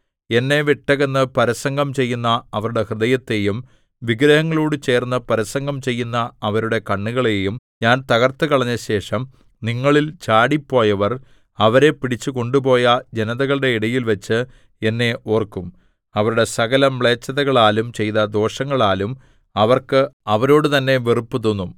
എന്നെ വിട്ടകന്ന് പരസംഗം ചെയ്യുന്ന അവരുടെ ഹൃദയത്തെയും വിഗ്രഹങ്ങളോടു ചേർന്നു പരസംഗം ചെയ്യുന്ന അവരുടെ കണ്ണുകളെയും ഞാൻ തകർത്തുകളഞ്ഞശേഷം നിങ്ങളിൽ ചാടിപ്പോയവർ അവരെ പിടിച്ചു കൊണ്ടുപോയ ജനതകളുടെ ഇടയിൽവച്ച് എന്നെ ഓർക്കും അവരുടെ സകലമ്ലേച്ഛതകളാലും ചെയ്ത ദോഷങ്ങളാലും അവർക്ക് അവരോടു തന്നെ വെറുപ്പുതോന്നും